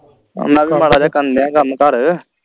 ਇਨਾ ਕੇ ਮਾੜਾ ਜਾ ਕਰਨ ਦੀਆ ਹੀ ਕੰਮ ਘਰ